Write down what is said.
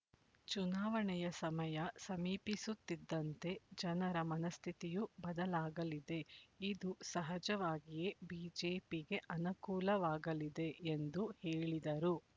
ಚುನಾವಣೆಯ ಸಮಯ ಸಮೀಪಿಸುತ್ತಿದ್ದಂತೆ ಜನರ ಮನಃಸ್ಥಿತಿಯೂ ಬದಲಾಗಲಿದೆ ಇದು ಸಹಜವಾಗಿಯೇ ಬಿಜೆಪಿಗೆ ಅನುಕೂಲವಾಗಲಿದೆ ಎಂದು ಹೇಳಿದರು